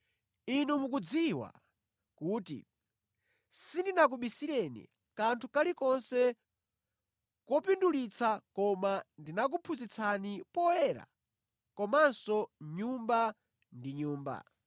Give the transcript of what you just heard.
Inu mukudziwa kuti, sindinakubisireni kanthu kalikonse kopindulitsa koma ndinakuphunzitsani poyera komanso nyumba ndi nyumba.